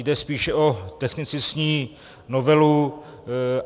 Jde spíše o technicistní novelu.